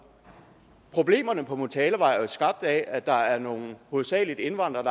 problemerne på motalavej er jo skabt af at der er nogle hovedsagelig indvandrere